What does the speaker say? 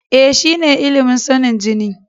E, shine ilimin sanin jini.